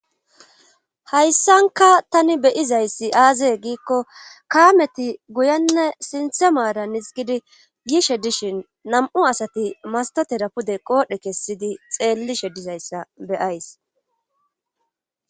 hayssanka tani beyizayssi aazee giikko kaameti guyenne sinthe maara nis gidi gishe dishin nam7u asati mastotera pude qoodhe kessidi xeellishe dizayssa beyays